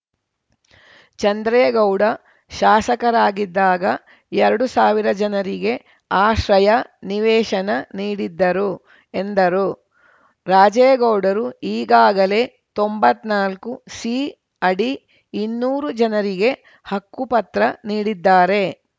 ಚಂದ್ರೇಗೌಡ ಶಾಸಕರಾಗಿದ್ದಾಗ ಎರಡು ಸಾವಿರ ಜನರಿಗೆ ಆಶ್ರಯ ನಿವೇಶನ ನೀಡಿದ್ದರು ಎಂದರು ರಾಜೇಗೌಡರು ಈಗಾಗಲೇ ತೊಂಬತ್ನಾಲ್ಕು ಸಿ ಅಡಿ ಇನ್ನೂರು ಜನರಿಗೆ ಹಕ್ಕುಪತ್ರ ನೀಡಿದ್ದಾರೆ